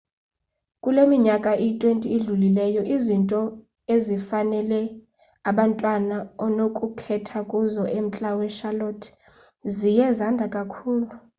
kule minyaka iyi-20 idlulileyo izinto ezifanele abantwana onokukhetha kuzo emntla wecharlotte ziye zanda kakhulu